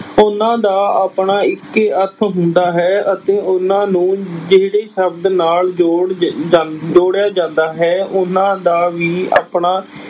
ਇਹਨਾਂ ਦਾ ਆਪਣਾ ਇੱਕ ਹੀ ਅਰਥ ਹੁੰਦਾ ਹੈ ਅਤੇ ਉਹਨਾਂ ਨੂੰ ਜਿਹੜੇ ਸ਼ਬਦ ਨਾਲ ਜੋੜ ਜ ਜਾਂ ਜੋੜਿਆ ਜਾਂਦਾ ਹੈ ਉਹਨਾਂ ਦਾ ਵੀ ਆਪਣਾ